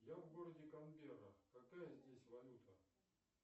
я в городе канберра какая здесь валюта